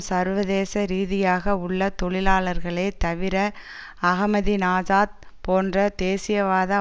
சர்வதேசரீதியாக உள்ள தொழிலாளர்களே தவிர அஹமதினாஜாத் போன்ற தேசியவாத